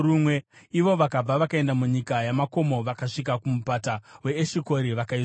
Ivo vakabva vakaenda munyika yamakomo, vakasvika kumupata weEshikori vakaisora.